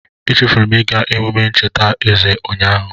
Echefuru m ịga emume ncheta eze ụnyaahụ.